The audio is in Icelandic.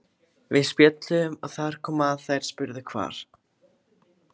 Við spjölluðum og þar kom að þær spurðu hvar